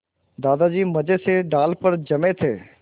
दादाजी मज़े से डाल पर जमे थे